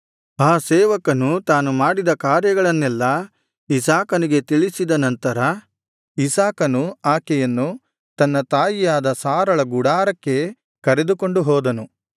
ಆ ಸೇವಕನು ತಾನು ಮಾಡಿದ ಕಾರ್ಯಗಳನ್ನೆಲ್ಲಾ ಇಸಾಕನಿಗೆ ತಿಳಿಸಿದ ನಂತರ ಇಸಾಕನು ಆಕೆಯನ್ನು ತನ್ನ ತಾಯಿಯಾದ ಸಾರಳ ಗುಡಾರಕ್ಕೆ ಕರೆದುಕೊಂಡು ಹೋದನು